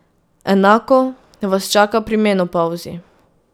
Enako vas čaka pri menopavzi.